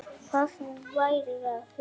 Hvað þú værir að hugsa.